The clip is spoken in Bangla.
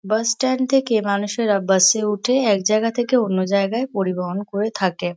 বাস স্ট্যান্ড থেকে মানুষেরা বাস -এ ওঠে এক জায়গা থেকে অন্য জায়গায় পরিবহন করে থাকে।